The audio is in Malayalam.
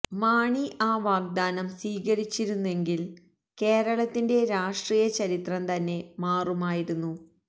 മാണി ആ വാഗ്ദാനം സ്വീകരിച്ചിരുന്നെങ്കില് കേരളത്തിന്റെ രാഷ്ട്രീയ ചരിത്രം തന്നെ മാറുമായിരുന്നു